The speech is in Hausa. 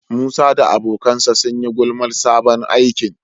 Musa da abokansa sun yi gulmar sabon aikin.